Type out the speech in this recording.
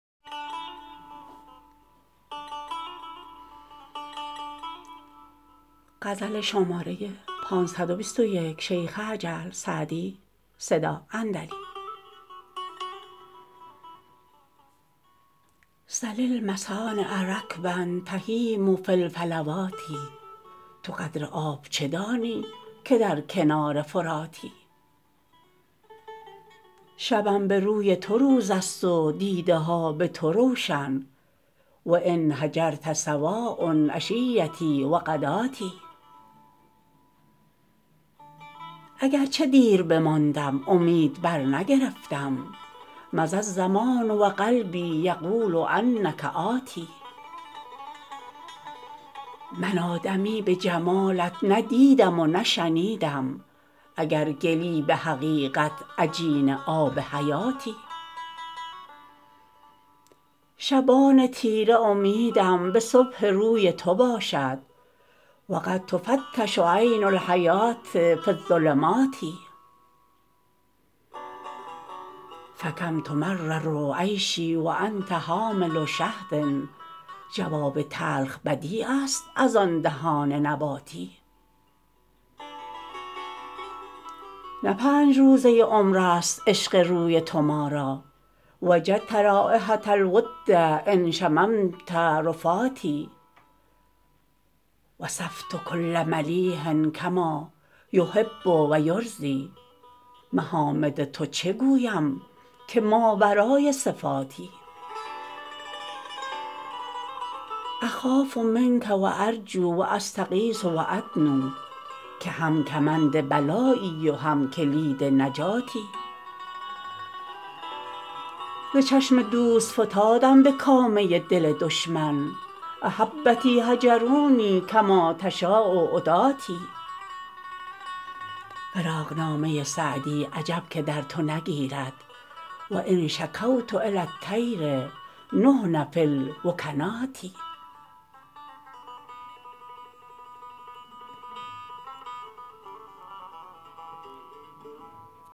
سل المصانع رکبا تهیم فی الفلوات تو قدر آب چه دانی که در کنار فراتی شبم به روی تو روز است و دیده ها به تو روشن و إن هجرت سواء عشیتي و غداتي اگر چه دیر بماندم امید برنگرفتم مضی الزمان و قلبي یقول إنک آت من آدمی به جمالت نه دیدم و نه شنیدم اگر گلی به حقیقت عجین آب حیاتی شبان تیره امیدم به صبح روی تو باشد و قد تفتش عین الحیوة في الظلمات فکم تمرر عیشي و أنت حامل شهد جواب تلخ بدیع است از آن دهان نباتی نه پنج روزه عمر است عشق روی تو ما را وجدت رایحة الود إن شممت رفاتي وصفت کل ملیح کما یحب و یرضیٰ محامد تو چه گویم که ماورای صفاتی أخاف منک و أرجو و أستغیث و أدنو که هم کمند بلایی و هم کلید نجاتی ز چشم دوست فتادم به کامه دل دشمن أحبتي هجروني کما تشاء عداتي فراقنامه سعدی عجب که در تو نگیرد و إن شکوت إلی الطیر نحن في الوکنات